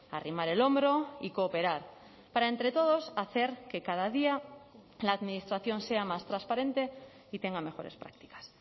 a arrimar el hombro y cooperar para entre todos hacer que cada día la administración sea más transparente y tengan mejores prácticas